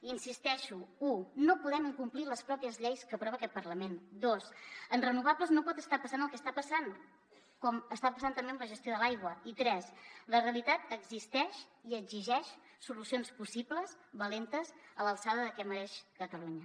hi insisteixo u no podem incomplir les pròpies lleis que aprova aquest parlament dos en renovables no pot estar passant el que està passant com està passant també amb la gestió de l’aigua i tres la realitat existeix i exigeix solucions possibles valentes a l’alçada del que mereix catalunya